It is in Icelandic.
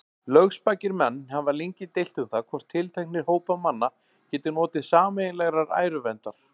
Lögspakir menn hafa lengi deilt um það, hvort tilteknir hópar manna geti notið sameiginlegrar æruverndar.